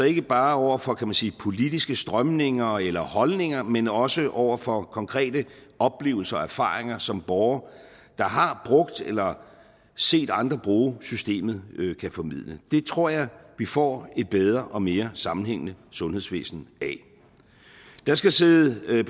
ikke bare over for kan man sige politiske strømninger eller holdninger men også over for konkrete oplevelser og erfaringer som borgere der har brugt eller set andre bruge systemet kan formidle det tror jeg vi får et bedre og mere sammenhængende sundhedsvæsen af der skal sidde